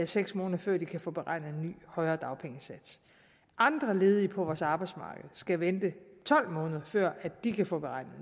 seks måneder før de kan få beregnet en ny og højere dagpengesats andre ledige på vores arbejdsmarked skal vente tolv måneder før de kan få beregnet